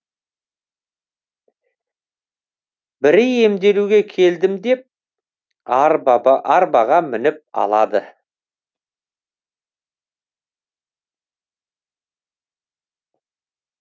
бірі емделуге келдім деп арбаға мініп алады